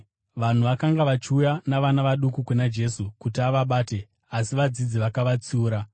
Vanhu vakanga vachiuya navana vaduku kuna Jesu kuti avabate, asi vadzidzi vakavatsiura.